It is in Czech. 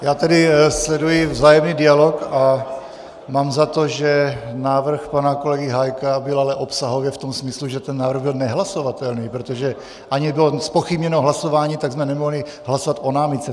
Já tedy sleduji vzájemný dialog a mám za to, že návrh pana kolegy Hájka byl ale obsahově v tom smyslu, že ten návrh byl nehlasovatelný, protože ani nebylo zpochybněno hlasování, tak jsme nemohli hlasovat o námitce.